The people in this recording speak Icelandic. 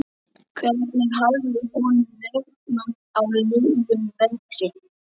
Hvernig hafði honum vegnað á liðnum vetri?